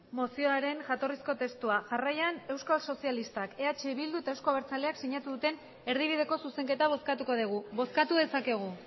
mozioaren jatorrizko testua jarraian euskal sozialistak eh bildu eta euzko abertzaleak sinatu duten erdibideko zuzenketa bozkatuko dugu bozkatu dezakegu